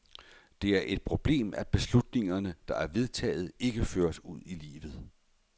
Det er et problem, at beslutninger, der er vedtaget, ikke føres ud i livet.